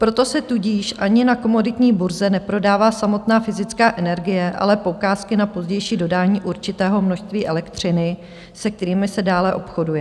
Proto se tudíž ani na komoditní burze neprodává samotná fyzická energie, ale poukázky na pozdější dodání určitého množství elektřiny, se kterými se dále obchoduje.